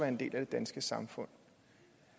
en del af det danske samfund